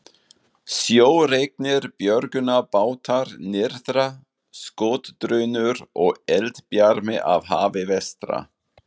Sjóreknir björgunarbátar nyrðra, skotdrunur og eldbjarmi af hafi vestra.